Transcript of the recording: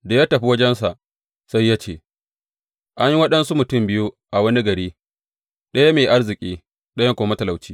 Da ya tafi wajensa, sai ya ce, An yi waɗansu mutum biyu a wani gari, ɗaya mai arziki, ɗayan kuma matalauci.